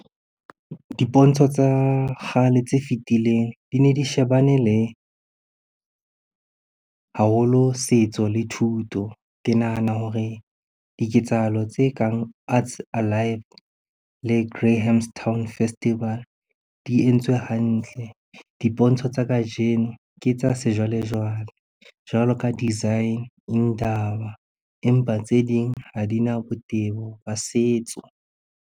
Dipontsho tsa kgale tse fitileng di ne di shebane le, haholo setso le thuto. Ke nahana hore diketsahalo tse kang le Grahamstown festival di entswe hantle. Dipontsho tsa kajeno ke tsa sejwalejwale jwalo ka design empa tse ding ha di na botebo ba setso.